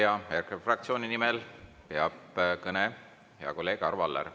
Ja EKRE fraktsiooni nimel peab kõne hea kolleeg Arvo Aller.